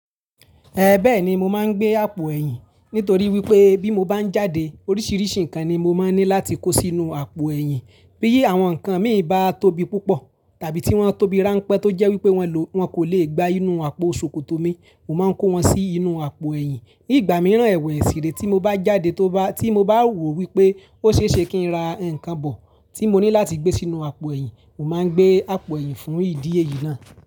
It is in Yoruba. Bẹ́ẹ̀ni mo máa ń gbé àpò ẹ̀yin, nítorí wípé bí mo bá jáde oríṣiríṣi nǹkan ni mo máa ní láti kó sí inú àpò ẹ̀yin. Bí àwọn nǹkan mi bá tóbi púpọ̀ tàbí tí wọ́n tóbi ránpẹ́ tó jẹ́ wípé wọn kò lè gbá inú àpò ṣòkòtò mi, mo máa ń kó wọn sí inú àpò ẹ̀yìn. Ní ìgbà mìíràn ẹwẹ̀ èsìré tí mo bá jáde, tí mo bá rò wípé ó ṣe é ṣe kí ń ra nǹkan bọ̀ tí mo ní láti gbé sínú àpò ẹ̀yìn, mo máa ń gbé àpò ẹ̀yìn fún ìdíye yìí náà.